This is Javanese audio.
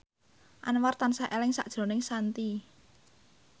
Anwar tansah eling sakjroning Shanti